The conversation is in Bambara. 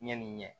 Ɲɛni ɲɛ